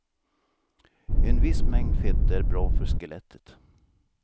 En viss mängd fett är bra för skelettet.